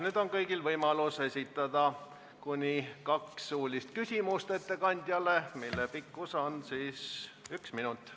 Nüüd on kõigil võimalik esitada ettekandjale kaks suulist küsimust, mille pikkus on üks minut.